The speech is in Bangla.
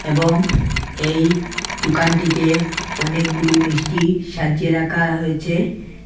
এবং এই দুকানটিতে অনেকগুলু মিষ্টি সাজিয়ে রাখা হয়েছে।